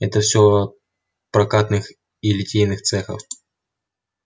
это все от прокатных и литейных цехов